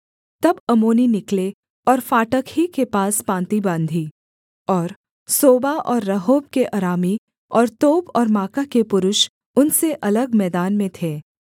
तब अम्मोनी निकले और फाटक ही के पास पाँति बाँधी और सोबा और रहोब के अरामी और तोब और माका के पुरुष उनसे अलग मैदान में थे